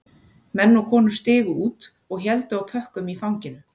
Menn og konur stigu út og héldu á pökkum í fanginu